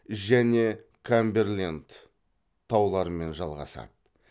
және камберленд тауларымен жалғасады